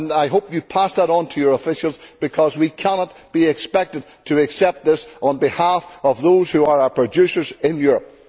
I hope you pass that on to your officials because we cannot be expected to accept this on behalf of those who are our producers in Europe.